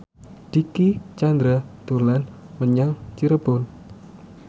Dicky Chandra dolan menyang Cirebon